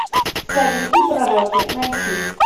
цари и пророки найти